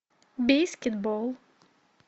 бейскетбол